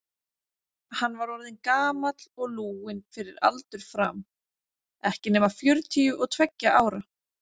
Hann var orðinn gamall og lúinn fyrir aldur fram, ekki nema fjörutíu og tveggja ára.